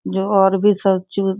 जो और भी सब चूस --